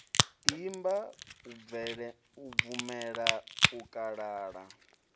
imba u bvumela u kalala